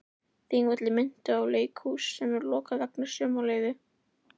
Þingvellir minntu á leikhús sem er lokað vegna sumarleyfa.